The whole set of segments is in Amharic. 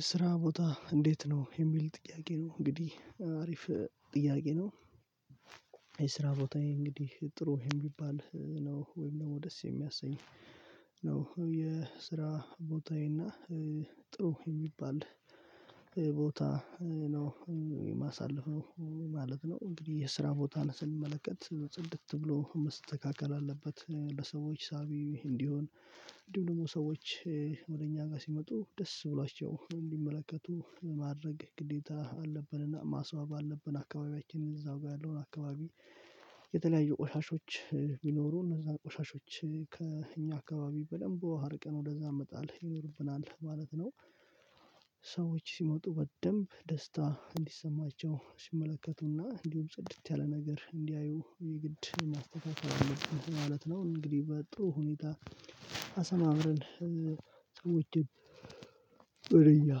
የስራ ቦታ እንዴት ነው? የሚል ጥያቄ ነው እንግዲህ አሪፍ ጥያቄ ነው። የስራ ቦታዬ እንግዲህ ጥሩ የሚባል ነው ወይም ደግሞ ደስ የሚያሰኝ ነው የስራ ቦታዬና ጥሩ የሚባል ቦታ ነው። ነው ማለት ነው። እንግዲህ የስራ ቦታን ስንመለከት ጽድት ብሎ መስተካከል አለበት። ለሰዎች ሳቢ እንዲሆን እንዲሁ ደግሞ ሰዎች ወደ እኛ ጋር ሲመጡ ደስ ብሏቸው እንዲመለከቱ ማድረግ ግዴታ አለብንና ማስዋብ አለብን አካባቢያችንን እዛው ጋር ያለውን አካባቢ የተለያዩ ቆሻሾች ቢኖሩ እነዛ ቆሻሾች ከእኛ አካባቢ በደንብ አርቀን ወደዛ እመጣለሁ ይኖርብናል ማለት ነው። ሰዎች ሲመጡ በደንብ ደስታ እንዲሰማቸው ሲመለከቱና እንዲሁም ጽድት ያለ ነገር እንዲያዩ የግድ ማስተካከል ማለት ነው እንግዲህ በጥሩ ሁኔታ አሰማምረን ሰዎችን በደያ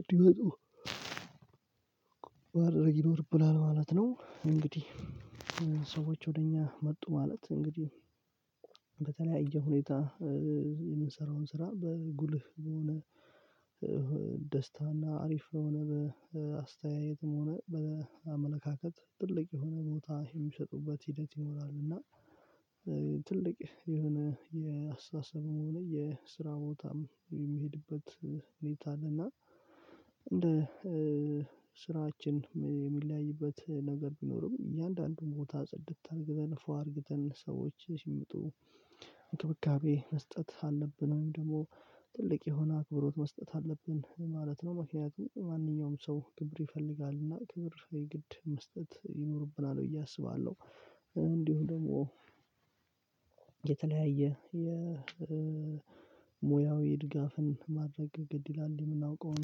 እንዲመጡ ባደረግ ይኖርብናል ማለት ነው። እንግዲህ ሰዎች ወደ እኛ መጡ ማለት እንግዲህ በተለያየ ሁኔታ የምንሰራውን ስራ በጉልህ በሆነ ደስታና አሪፍ በሆነ በአስተያየትም ሆነ በአመለካከት ትልቅ የሆነ ቦታ የሚሰጡበት ሂደት ይኖራሉ። እና ትልቅ የሆነ የአስተሳሰብ መሆኑ የስራ ቦታም የሚሄድበት ሁኔታ አለና። እንደ ስራችን የሚለያይበት ነገር ቢኖርም እያንዳንዱን ቦታ ጽድት ተንግዘን ፏ አርግተን ሰዎች ሲመጡ እንክብካቤ መስጠት አለብን ወይም ደግሞ ትልቅ የሆነ አክብሮት መስጠት አለብን ማለት ነው። ማንኛውም ማንኛውም ሰው ክብር ይፈልጋል እና ክብር የግድ መስጠት ይኖርብናል ብዬ አስባለሁ። እንዲሁ ደግሞ የተለያየ የሙያዊ ድጋፍን ማድረግ ግድ ይላል የምናውቀውን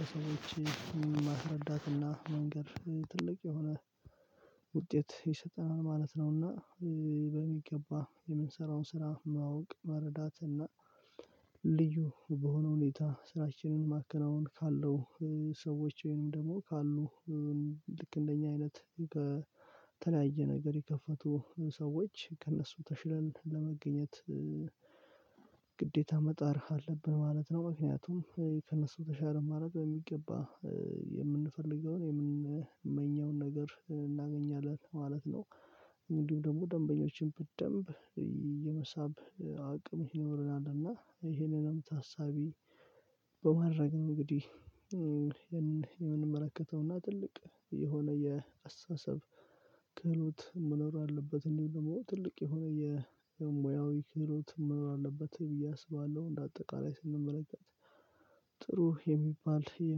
ለሰዎች ማስረዳትና መንገድ ትልቅ የሆነ ውጤት የሰጠነውን ማለት ነውና። በሚገባ የምንሰራውን ስራ ማወቅ መረዳትና ልዩ በሆነ ሁኔታ ስራችንን ማከናወን ካለው ሰዎች ወይንም ደግሞ ካሉ ልክ እንደኛ አይነት ከተለያየ ነገር የከፈቱ ሰዎች ከእነሱ ተሽለን ለመገኘት ግዴታ መጣር አለብን ማለት ነው። ምክንያቱም ከእነሱ ተሻለ ማለት በሚገባ የምንፈልገውን የምንመኘውን ነገር እናገኛለን ማለት ነው። እንዲሁ ደግሞ ደንበኞችን በደንብ የመሳብ አቅም ይኖረናልና ይሄንንም ታሳቢ በማድረግ ነው እንግዲህ የምንመለከተውና ትልቅ የሆነ የአስተሳሰብ ክህሎት መኖር አለበት። እንዲሁም ትልቅ የሆነ የሙያዊ ክህሎት መኖር አለበት ብዬ አስባለሁ። እንደ አጠቃላይ ስንመለከት ጥሩ የሚባል የ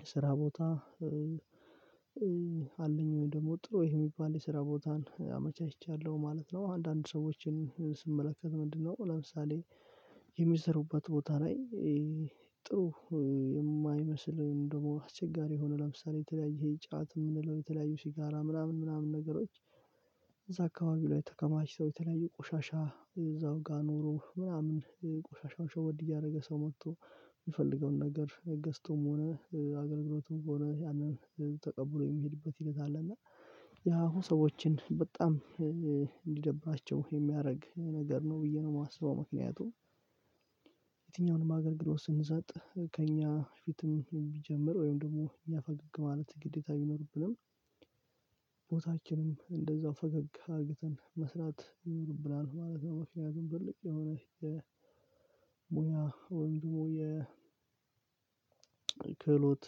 የስራ ቦታ አለኝ ወይ ደግሞ ጥሩ ይሄ የሚባል የስራ ቦታን አመቻችቻለሁ ማለት ነው። አንዳንድ ሰዎችን ስመለከት ምንድነው ለምሳሌ ቦታ ላይ ጥሩ የማይመስል ደግሞ አስቸጋሪ የሆነ ለምሳሌ የተለያየ ይሄ ጫት የምንለው የተለያየ ሲጋራ ምናምን ምናምን ነገሮች እዛ አካባቢ ላይ ተከማችተው የተለያየ ቆሻሻ እዛው ጋር ኖሮ ምናምን ቆሻሻውን ሸወድ እያደረገ ሰው መጥቶ የሚፈልገውን ነገር ገዝቶም ሆነ አገልግሎቱም ሆነ ያንን ተቀብሎ የሚሄድበት ሂደት አለ እና ያሁ ሰዎችን በጣም እንዲደብራቸው የሚያደርግ ነገር ነው ብዬ ነው የማስበው። ምክንያቱም አገልግሎት ስንሰጥ ከእኛ ፊትም ቢጀምር ወይም ደግሞ እኛ ፈገግ ማለት ግዴታ ቢኖርብንም ቦታችንም እንደዛው ፈገግ ሀገትን መስራት ይኖርብናል ማለት ነው። መልካም ትልቅ የሆነ የሙያ ወንድሙ የክህሎት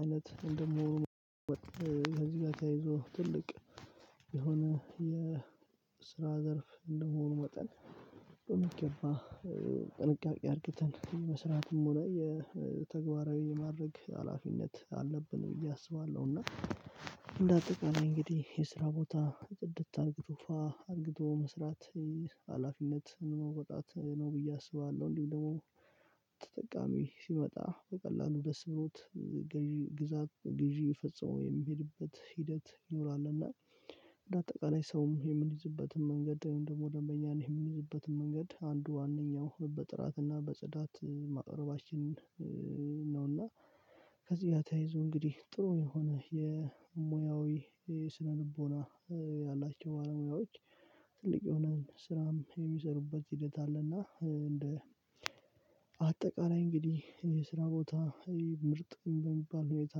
አይነት ወይም ደግሞ ከዚህ ጋር ያይዞ ትልቅ የሆነ የስራ ዘርፍ እንደሆኑ መጠን ጥንቃቄ አድርገን የመሥራትም ሆነ የተግባራዊ የማድረግ ሀላፊነት አለብን ብዬ አስባለሁ። እና እንደ አጠቃላይ እንግዲህ የስራ ቦታ ጽድት አርግቶ አርግቶ መስራት ሀላፊነት መውጣት ነው ብዬ አስባለሁ። እንዲሁም ደግሞ ተጠቃሚ ሲመጣ በቀላሉ ደስ ብሎት ግዢ ግዛት ግዢ ፈጸመው የሚሄድበት ሂደት ይኖራልና። እና እንደ አጠቃላይ ሰውም የምንይዝበትን መንገድ ደግሞ ደንበኛ ነው የምንይዝበትን መንገድ አንዱ ዋናው በጥራትና በጽዳት ማቅረባችን ነውና። ከዚህ ያተያይዘው እንግዲህ ጥሩ የሆነ የሙያዊ ስነልቦና ያላቸው ባለሙያዎች ትልቅ የሆነ ስራም የሚሰሩበት ሂደት አለና እንደ አጠቃላይ እንግዲህ የስራ ቦታ ምርጥ በሚባል ሁኔታ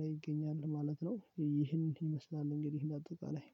ላይ እገኛለሁ ማለት ነው። ይህንን ይመስላል እንግዲህ እንዳትወጣ ላይ